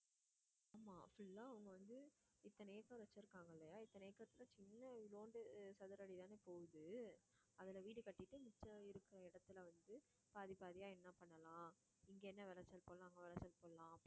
அவங்க வந்து இத்தனை acre வச்சிருக்காங்க இல்லையா இத்தனை acre ல சின்ன சதுர அடிதானே போகுது. அதுல வீடு கட்டீட்டு, மிச்சம் இருக்கிற இடத்துல வந்து, பாதி, பாதியா என்ன பண்ணலாம் இங்க என்ன விளைச்சல் போடலாம், அங்க விளைசல் போடலாம்